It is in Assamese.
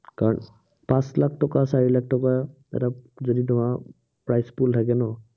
কাৰণ পাঁচ লাখ টকা, চাৰি লাখ টকা এটা যদি তোমাৰ price pool থাকে ন